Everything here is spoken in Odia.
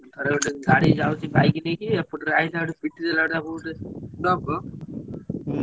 ଥରେ ଗୋଟେ ଗାଡି ଯାଉଛି bike ନେଇକି ଏପଟରୁ ଆସିଲା ପିଟିଦେଲାଆସି ଟ୍ରକ।